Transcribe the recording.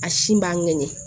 A si b'a ŋɛɲɛ